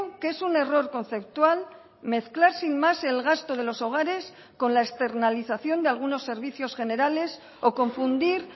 que es un error conceptual mezclar sin más el gasto de los hogares con la externalización de algunos servicios generales o confundir